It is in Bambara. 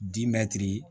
Dimɛtiri